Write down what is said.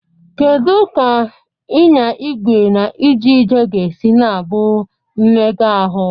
Kedu ka ịnya igwe na ije ije ga-esi na-abụ mmega ahụ?